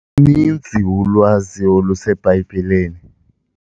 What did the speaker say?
Luninzi ulwazi oluseBhayibhileni.